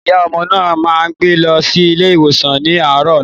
Ìyá ọmọ náà ma gbé lọ sí ilé ìwòsan ní àárò ọ̀la